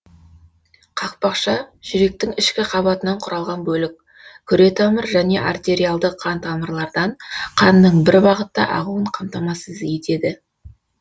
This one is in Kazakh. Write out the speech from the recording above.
қақпақша жүректің ішкі қабатынан құралған бөлік күре тамыр және артериалды қан тамырлардан қанның бір бағытта ағуын қамтамасыз етеді